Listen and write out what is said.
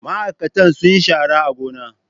Ma'aikatan sun yi shara a gona.